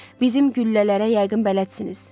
Bizim güllələrə yəqin bələdsiniz.